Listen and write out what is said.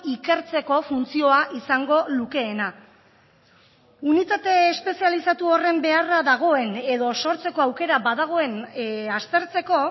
ikertzeko funtzioa izango lukeena unitate espezializatu horren beharra dagoen edo sortzeko aukera badagoen aztertzeko